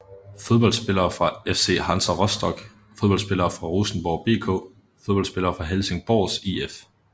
Fodboldspillere fra FC Hansa Rostock Fodboldspillere fra Rosenborg BK Fodboldspillere fra Helsingborgs IF